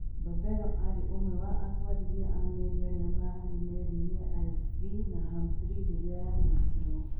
Balbero aarĩ ũmwe wa atwarithia a meri arĩa maarĩ meri-inĩ ya FV Naham 3 rĩrĩa yaanyitirũo.